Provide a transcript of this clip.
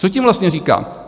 Co tím vlastně říkám?